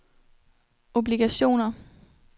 obligationer